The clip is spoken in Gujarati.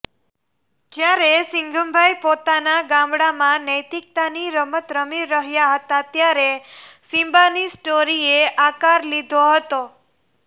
જ્યારે સિંઘમભાઇ પોતાના ગામડામાં નૈતિકતાની રમત રમી રહ્યા હતા ત્યારે સિમ્બાની સ્ટોરીએ આકાર લીધો હતો